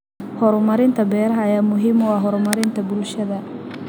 Horumarinta beeraha ayaa muhiim u ah horumarinta bulshada.